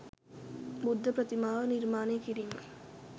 බුද්ධ ප්‍රතිමාව නිර්මාණය කිරීම